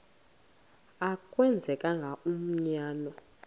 a kwenzeka umanyano